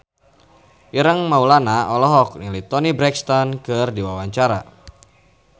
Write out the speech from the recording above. Ireng Maulana olohok ningali Toni Brexton keur diwawancara